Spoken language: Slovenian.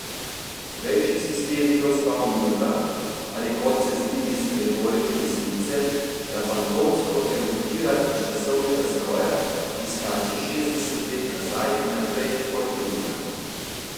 Prejšnji sistem ni ostal v Murglah ali, kot se zdi iz retorike desnice, da fantomsko eruptira iz časovnega stroja, ki skače šestdeset let nazaj in naprej kot podivjan.